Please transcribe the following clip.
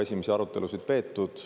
Esimesi arutelusid on juba peetud.